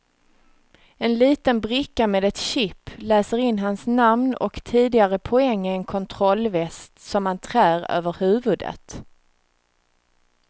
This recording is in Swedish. En liten bricka med ett chip läser in hans namn och tidigare poäng i en kontrollväst som man trär över huvudet.